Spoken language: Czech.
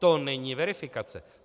To není verifikace.